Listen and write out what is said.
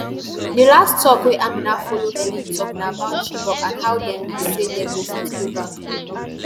di last tok wey amina follow helen tok na about chibok and how dem wish say dem go fit go back